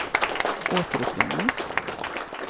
återuppringning